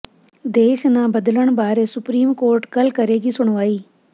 ਦੇਸ਼ ਨਾਂ ਬਦਲਣ ਬਾਰੇ ਸੁਪਰੀਮ ਕੋਰਟ ਕੱਲ੍ਹ ਕਰੇਗੀ ਸੁਣਵਾਈ